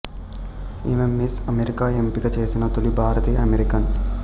ఈమె Miss America ఎంపిక చేసిన తొలి భారతీయ అమెరికన్